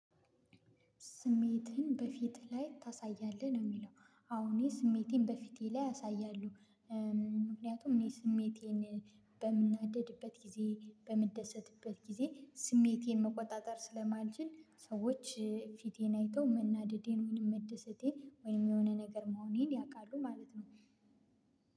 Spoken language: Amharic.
ስሜትህን በፊት ላይ ታሳያለህ ነው የሚለው? አዎ እኔ ስሜቴን በፊቴ ላይ አሳያለሁ። ምክንያቱም እኔ ስሜቴን በምናደድበት ጊዜ በምደሰትበት ጊዜ ስሜቴን መቆጣጠር ስለማልችል ሰዎች ፊቴን አይተው መናደዴን ወይንም መደሰቴን ወይንም የሆነ ነገር መሆኔን ያውቃሉ ማለት ነው።